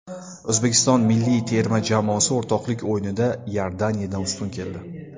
O‘zbekiston milliy terma jamoasi o‘rtoqlik o‘yinida Iordaniyadan ustun keldi.